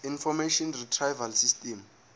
information retrieval system